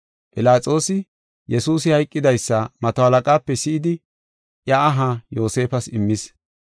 Philaxoosi, Yesuusi hayqidaysa mato halaqaape si7idi, iya aha Yoosefas immis.